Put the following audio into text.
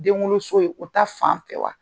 Den wolo so in ye o ta fan fɛ wa ?